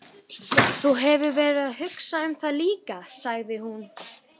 Þú hefur verið að hugsa um það líka, sagði hún.